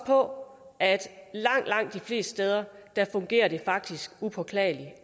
på at langt langt de fleste steder fungerer det faktisk upåklageligt